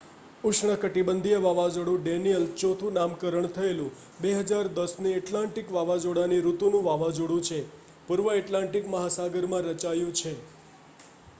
ઉષ્ણકટિબંધીય વાવાઝોડું ડેનિયલ ચોથું નામકરણ થયેલું 2010ની એટલાન્ટિક વાવાઝોડાની ઋતુનું વાવાઝોડું છે પૂર્વ એટલાન્ટિક મહાસાગરમાં રચાયું છે